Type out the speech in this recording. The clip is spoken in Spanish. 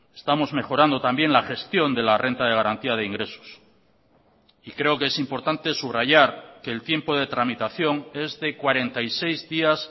estamos mejorando también la gestión de la renta de garantía de ingresos y creo que es importante subrayar que el tiempo de tramitación es de cuarenta y seis días